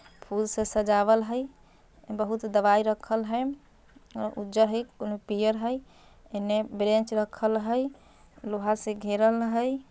फूल स सजावल हइ। बहुत दवाई रखल हइ। और उजर हइ कोनू पीयर हइ ईमे बेरेंच रखल हइ। लोहा से घेरल हइ।